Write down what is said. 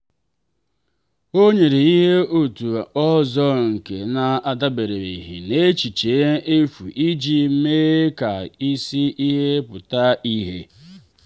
o nyere ihe atụ ọzọ nke na-adabereghị n'echiche efu iji mee ka isi ihe pụta ìhè.